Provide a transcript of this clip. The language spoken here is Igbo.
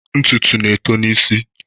Ntutu na-eto n'isi.